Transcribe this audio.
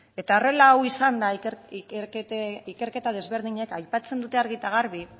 eta horrela hau izanda ikerketa desberdinek aipatzen dute argi eta garbi